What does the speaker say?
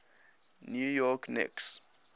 new york knicks